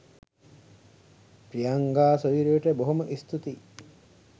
ප්‍රියංගා සොයුරියට බොහොම ස්තූතියි.